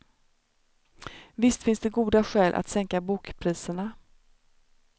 Visst finns det goda skäl att sänka bokpriserna.